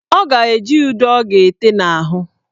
Ọ ga-eji ude ọ ga-ete n' ahụ.